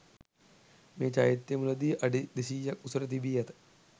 මේ චෛත්‍යය මුලදී අඩි 200 ක් උසට තිබී ඇත.